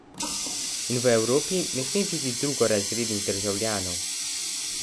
In v Evropi ne sme biti drugorazrednih državljanov!